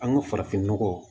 An ka farafinnɔgɔ